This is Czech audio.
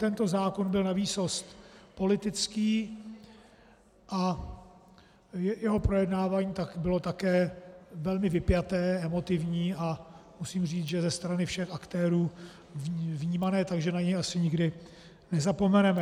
Tento zákon byl navýsost politický a jeho projednávání bylo také velmi vypjaté, emotivní a musím říct, že ze strany všech aktérů vnímané tak, že na něj asi nikdy nezapomeneme.